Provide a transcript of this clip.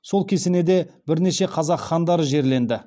сол кесенеде бірнеше қазақ хандары жерленді